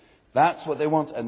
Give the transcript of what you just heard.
That is what they want.